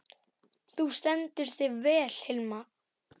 Þú stendur þig vel, Hilma!